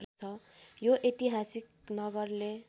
यो ऐतिहासिक नगरले